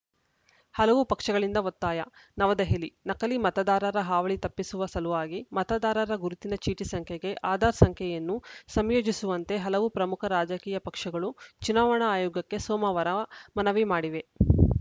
ಹಲವು ಪಕ್ಷಗಳಿಂದ ಒತ್ತಾಯ ನವದೆಹಲಿ ನಕಲಿ ಮತದಾರರ ಹಾವಳಿ ತಪ್ಪಿಸುವ ಸಲುವಾಗಿ ಮತದಾರರ ಗುರುತಿನ ಚೀಟಿ ಸಂಖ್ಯೆಗೆ ಆಧಾರ್‌ ಸಂಖ್ಯೆಯನ್ನು ಸಂಯೋಜಿಸುವಂತೆ ಹಲವು ಪ್ರಮುಖ ರಾಜಕೀಯ ಪಕ್ಷಗಳು ಚುನಾವಣಾ ಆಯೋಗಕ್ಕೆ ಸೋಮವಾರ ಮನವಿ ಮಾಡಿವೆ